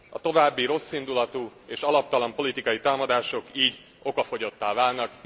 A további rosszindulatú és alaptalan politikai támadások így okafogyottá válnak.